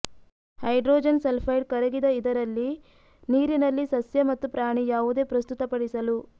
hydrogen sulphide ಕರಗಿದ ಇದರಲ್ಲಿ ನೀರಿನಲ್ಲಿ ಸಸ್ಯ ಮತ್ತು ಪ್ರಾಣಿ ಯಾವುದೇ ಪ್ರಸ್ತುತಪಡಿಸಲು